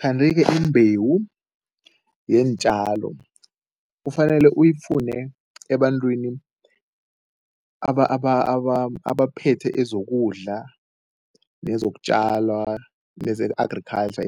Kanti-ke imbewu yeentjalo kufanele uyifune ebantwini abaphethe ezokudla nezokutjala neze-agriculture